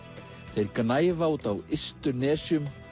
þeir gnæfa úti á ystu nesjum